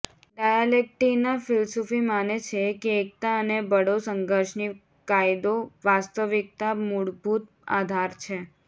ડાયાલેક્ટિકના ફિલસૂફી માને છે કે એકતા અને બળો સંઘર્ષની કાયદો વાસ્તવિકતા મૂળભૂત આધાર છે